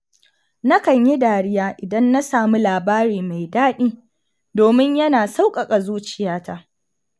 Nakan yi dariya idan na sami labari mai daɗi domin yana sauƙaƙa zuciyata.